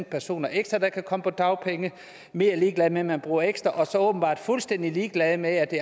personer ekstra der kan komme på dagpenge mere ligeglad med at man bruger ekstra og så åbenbart er fuldstændig ligeglad med at det